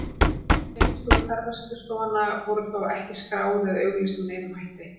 Þessi tengsl ferðaskrifstofanna voru þó ekki skráð eða auglýst með neinum hætti.